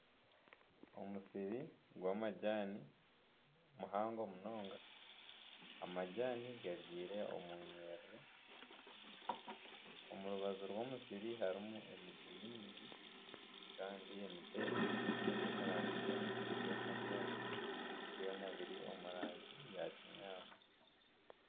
Omusiri gw'amajani muhango munonga. Amajani gabyire omunyiriri. Omu rubaju rw'omusiri harimu emiti mingi kandi emiti egi eri omu rangi emwe ey'amajani. byona biri omu rangi ya kinyaatsi.